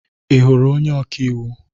Ị hụrụ onye ọka iwu?